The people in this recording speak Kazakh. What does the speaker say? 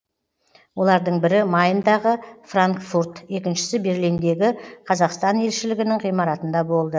олардың бірі майндағы франкфурт екіншісі берлиндегі қазақстан елшілігінің ғимаратында болды